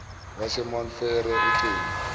wasemount frere ucingo